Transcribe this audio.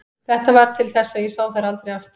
Þetta varð til þess að ég sá þær aldrei aftur.